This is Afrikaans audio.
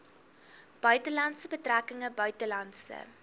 buitelandse betrekkinge buitelandse